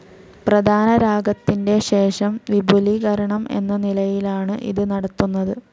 പ്രധാനരാഗത്തിന്റെ ശേഷം വിപുലീകരണം എന്ന നിലയിലാണ് ഇത് നടത്തുന്നത്.